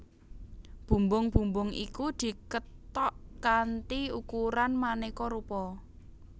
Bumbung bumbung iku dikethok kanthi ukuran manéka rupa